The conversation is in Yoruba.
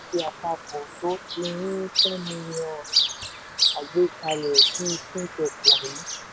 àpapọ̀ tó ti ní ten million agbékalẹ̀ bíi fintech wọ̀nyí.